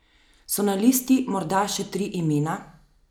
So na listi morda še tri imena?